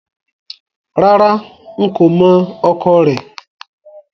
Rárá, n kò mọ̀ ọkọ rẹ̀